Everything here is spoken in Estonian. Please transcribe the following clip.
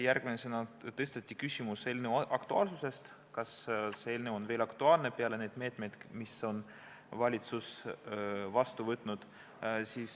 Järgmisena tõsteti üles küsimus eelnõu aktuaalsuse kohta, kas see eelnõu on veel aktuaalne peale neid meetmeid, mis valitsus on võtnud.